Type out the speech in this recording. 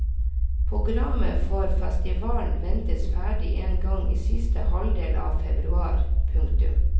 Programmet for festivalen ventes ferdig en gang i siste halvdel av februar. punktum